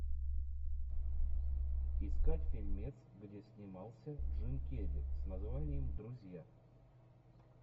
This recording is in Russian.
искать фильмец где снимался джим керри с названием друзья